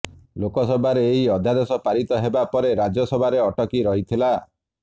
ଲୋକସଭାରେ ଏହି ଅଧ୍ୟାଦେଶ ପାରିତ ହେବା ପରେ ରାଜ୍ୟସଭାରେ ଅଟକିରହିଥିଲା